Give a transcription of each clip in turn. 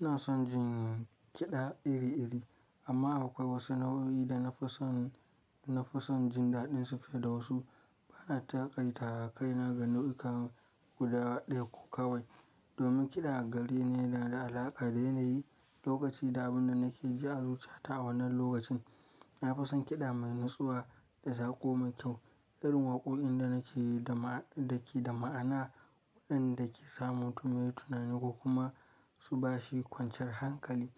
Ina son jin kiɗa iri-iri amma akwai wasu nau'o'i da na fi son, na fi son jin daɗinsu fiye da wasu. Bana taƙaitawa kaina ga nau'ikan guda ɗaya ko kawai domin kiɗa gari ne da na da alaƙa da yanayi, lokaci da abin da nake ji a zuciya ta a wannan lokacin. Na fi son kiɗa mai natsuwa da sako mai kyau, irin waƙoƙin da nake, da ke da ma'ana, waɗanda ke sa mutum yayi tunani kuma su bashi kwanciyar hankali.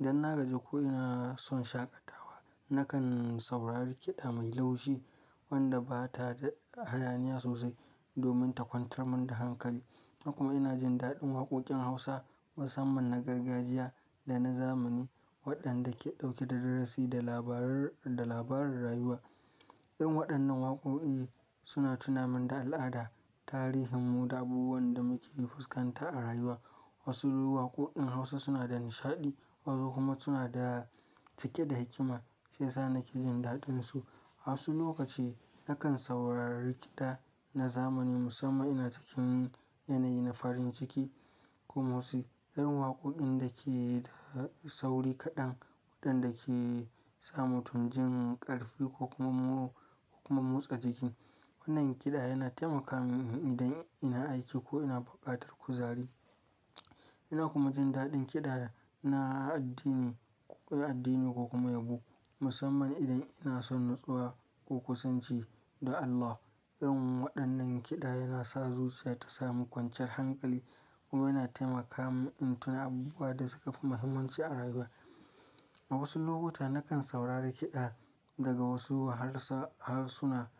Dan na gaji ko ina son shaƙatawa, nakan saurari kiɗa mai laushi wanda ba ta da hayaniya sosai domin ta kwantar mun da hankali. Hakuma ina jin daɗin waƙoƙin Hausa musamman na gargajiya da na zamani waɗanda ke ɗauke da darasi da labaran, da labaran rayuwa. Irin waɗannan waƙoƙi suna tuna mun da al'ada, tarihin mu da abubuwan da muke fuskanta a rayuwa. Wasu waƙoƙin Hausa suna da nishaɗi wasu kuma suna cike da hikima shiyasa nake jin daɗinsu. A wasu lokaci nakan saurari kiɗa na zamani musamman ina cikin yanayi na farin ciki kuma wasu irin waƙoƙin da ke da sauri kaɗan waɗanda ke sa mutum jin ƙarfi ko kuma, ko kuma motsa jiki. Wannan kiɗa yana taimaka min idan ina aiki ko ina bukatar kuzari. Ina kuma jin daɗin kiɗa na addini, na addini ko kuma yabo musamman idan ina son natsuwa ko kusanci da Allah. Irin waɗannan kiɗa yana sa zuciya ta samu kwanciyar hankali kuma yana taimaka mun in tuna abubuwa da suka fi muhimmanci a rayuwa. A wasu lokuta nakan saurari kiɗa daga wasu harsuna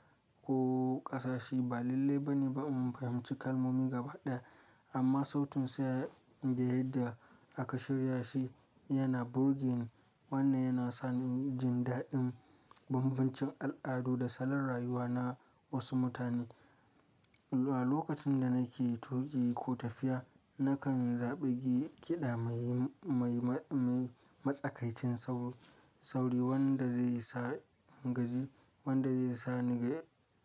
ko ƙasashe ba lallai bane ba in fahimci kalmomi gaba ɗaya amma sautin sa da yadda aka shirya shi yana burge ni. Wannan yana sa ni jin daɗin bambancin al'adu da salon rayuwa na wasu mutane. A lokacin da nake tuƙi ko tafiya nakan zaɓi kiɗa mai, mai, mai matsakaicin sauri, sauri wanda zai sa ingaji, wanda zai sa ni,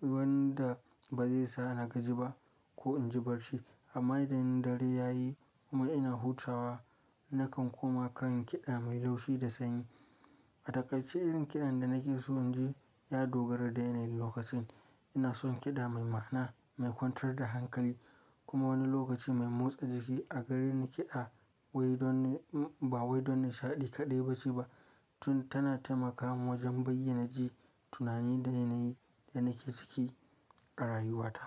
wanda ba zai sa na gaji ba ko in jibar shi amma idan dare yayi kuma ina hutawa nakan kuma kan kiɗa mai laushi da sanyi. A takaitace irin kiɗan da nake so inji ya dogara da yanayin lokacin. Ina son kiɗa mai ma'ana, mai kwantar da hankali kuma wani lokaci mai motsa jiki. A gareni kiɗa wai don, ba wai don nishaɗi kaɗai bace ba tun tana taimakawa wajen bayyanaji tunani da yanayi da nake ciki a rayuwata.